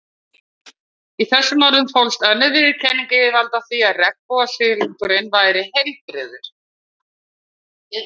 Í þessum orðum fólst önnur viðurkenning yfirvalda á því að regnbogasilungurinn væri heilbrigður.